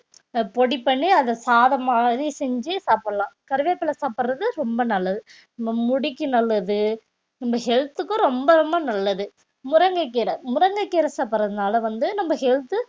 அஹ் பொடி பண்ணி அத சாதம் மாதிரி செஞ்சு சாப்பிடலாம் கறிவேப்பிலை சாப்பிடுறது ரொம்ப நல்லது மு~ முடிக்கு நல்லது நம்ம health க்கும் ரொம்ப ரொம்ப நல்லது முருங்கைக்கீரை முருங்கைக்கீரை சாப்பிடுறதுனால வந்து நம்ம health உ